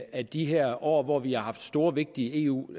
af de her år hvor vi har haft store vigtige eu